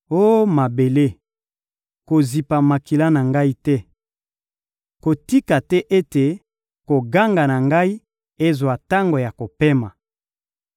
Oh mabele, kozipa makila na ngai te! Kotika te ete koganga na ngai ezwa tango ya kopema!